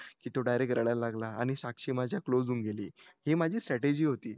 की तो डायरेक्ट रडायला लागला आणि साक्षी माझ्या क्लोज्ड होऊन गेली ही माझी स्ट्रॅटेजि होती